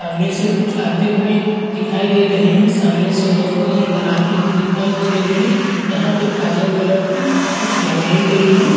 सामने से कुछ आते हुए दिखाई दे रहें हैं सामने से रोशनी अंदर आती हुई दिखाई दे रही है यहाँ पर काले कलर कुछ लगाई गई है।